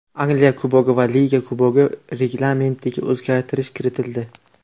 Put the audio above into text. Angliya Kubogi va Liga Kubogi reglamentiga o‘zgartirish kiritildi.